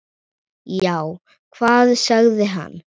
Já, hvað sagði hann?